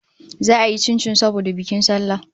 Zata yi chinchin saboda bikin sallah